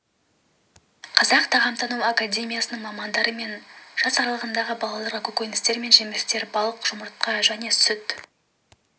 қазақ тағамтану академиясының мамандары мен жас аралығындағы балаларға көкөністер мен жемістер балық жұмыртқа және сүт